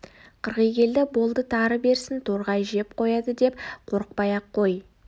қырғи келді болды тары берсін торғай жеп қояды деп қорықпай-ақ қой